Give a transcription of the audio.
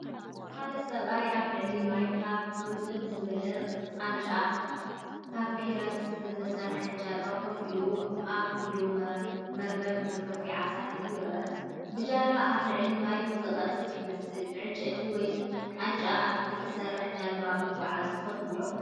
ሓደ ሰብኣይ ኣብ ልዕሊ ማይ ካብ ርጥብ ዝበለ ቃንጫ (ፓፒረስ) ዝተሰርሐት ጃልባ ኮፍ ኢሉ ኣብ ኢዱ መርበብ ምግፋፍ ዓሳ ሒዙ ይረአ። ብጃልባ ኣብ ልዕሊ ማይ ዝቐዝፍ ይመስል። ብዕንጨይቲ ወይ ቃንጫ ኣብ እተሰርሐት ጃልባ ምጕዓዝ ትፈቱዶ?